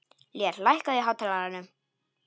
Lér, lækkaðu í hátalaranum.